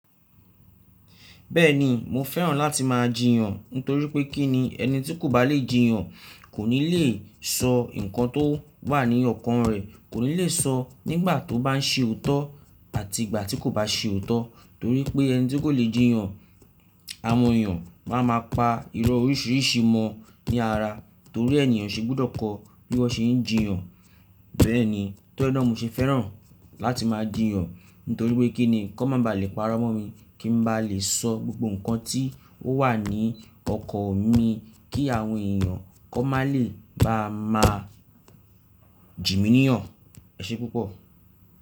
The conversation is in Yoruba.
Bẹ́ẹ̀ni mo fẹ́ràn láti máa jiyàn nítorí pé kí ni ẹni tí kò bá lè jiyàn kò ní le sọ nǹkan tó wà ní ọkàn rẹ̀, kò ní le sọ nígbà tó bá ń ṣe òótọ́ àti ìgbà tí kò bá ṣe òótọ́ torí pé ẹni tí kò lè jiyàn, àwọn èèyàn máa ma pa irọ́ oríṣiríṣi mọ ní ara torí ènìyàn ṣe gbọ́dọ̀ kọ bí wọ́n ṣe ń jiyàn. Bẹ́ẹ̀ni, tó ẹnọ̀ mo ṣe fẹ́ràn láti máa jiyàn nítorí pé kí ni kọ́ máa ba à le pàrọ̀ mọ́ mi kí n ba lè sọ gbogbo nǹkan tí ó wà ní ọkàn mi kí àwọn èèyàn kó má lè bá máa jìmì níyàn. Ẹ ṣe púpọ̀.